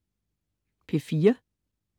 P4: